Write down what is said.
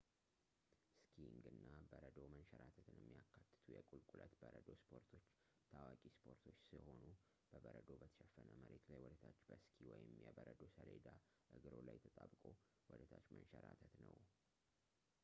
ስኪንግ እና በበረዶ መንሸራተትን የሚያካትቱ የቁልቁለት በረዶ ስፖርቶች ታዋቂ ስፖርቶች ስሆኑ በበረዶ በተሸፈነ መሬት ላይ ወደታች በሲኪ ወይም የበረዶ ሰሌዳ እግሮ ላይ ተጣብቆ ወደታች መንሸራተት ነው